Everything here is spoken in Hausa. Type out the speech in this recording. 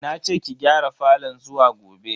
Nace ki gyara falon zuwa gobe.